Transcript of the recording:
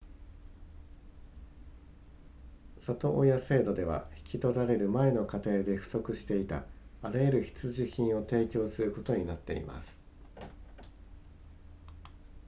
里親制度では引き取られる前の家庭で不足していたあらゆる必需品を提供することになっています